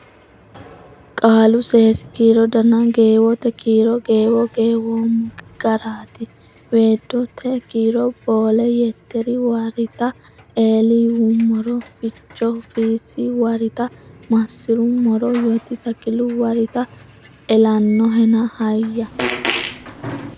Qaalu Seesi kiiro Dana Geewote Kiiro Geewo geeweemmo garita Weeddote Kiiro Boolle Yetteri warita Eli yuummoro Fichohu Fiissi warita Maassi’rummoro Yoti Takilu warita Elannohena hayya.